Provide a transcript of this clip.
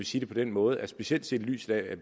sige det på den måde at specielt set i lyset af at